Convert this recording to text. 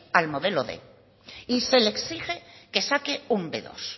al modelo quinientos y se le exige que saque un be dos